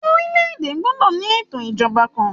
Orílè èdè gbọdọ ní ètò ìjọba kàn.